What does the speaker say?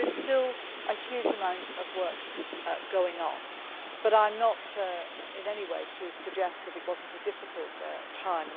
So there is still a huge amount of work going on, but I do not want in any way to suggest that it was not a difficult time.